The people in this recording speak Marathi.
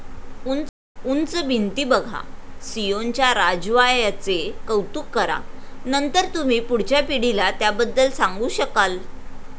उंच भिंती बघा, सियोनच्या राजवा्याचे कौतुक करा. नंतर तुम्ही पुढच्या पिढीला त्याबद्दल सांगू शकाल.